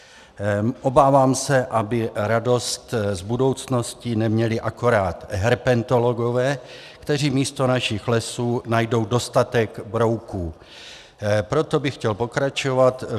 Obávám se, aby radost z budoucnosti neměli akorát herpetologové, kteří místo našich lesů najdou dostatek brouků, proto bych chtěl pokračovat.